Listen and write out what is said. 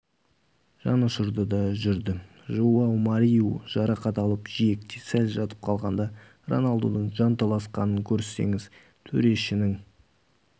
жанұшырды да жүрді жоау мариу жарақат алып жиекте сәл жатып қалғанда роналдудың жанталасқанын көрсеңіз төрешінің